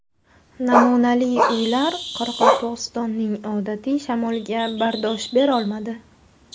Namunali uylar Qoraqalpog‘istonning odatiy shamoliga bardosh berolmadi.